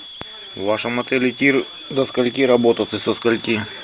в вашем отеле тир до скольки работает и со скольки